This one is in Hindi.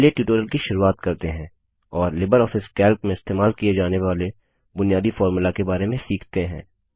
चलिए ट्यूटोरियल की शुरुआत करते हैं और लिबरऑफिस कैल्क में इस्तेमाल किए जाने वाले बुनियादी फॉर्मुला के बारे में सीखते हैं